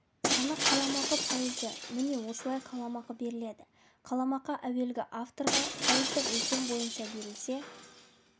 саны қалам ақы пайызы міне осылай қаламақы беріледі қаламақы әуелгі авторға пайыздық өлшем бойынша берілсе